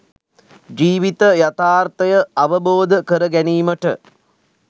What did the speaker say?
ජීවිත යථාර්ථය අවබෝධ කර ගැනීමට